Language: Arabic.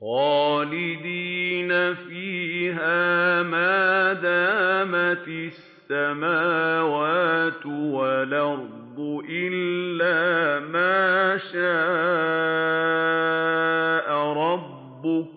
خَالِدِينَ فِيهَا مَا دَامَتِ السَّمَاوَاتُ وَالْأَرْضُ إِلَّا مَا شَاءَ رَبُّكَ ۚ